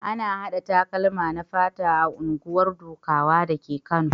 Ana haɗa takalma na fata a unguwar Dukawa dake Kano.